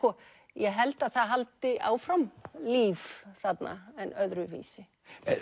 ég held að það haldi áfram líf þarna en öðruvísi